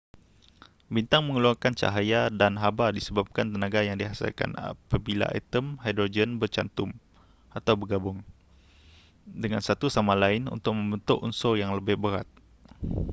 bintang mengeluarkan cahaya dan haba disebabkan tenaga yang dihasilkan apabila atom hidrogen bercantum atau bergabung dengan satu sama lain untuk membentuk unsur yang lebih berat